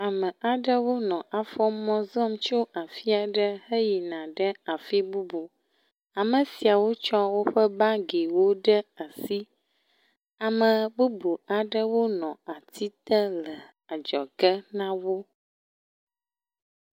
Ame aɖewo nɔ afɔmɔ zɔ̃m tso afi aɖe yina fi bubu, ame siawo tsɔ woƒe bagiwo ɖe asi, ame bubu aɖewo nɔ atsi te le adzɔge na wo.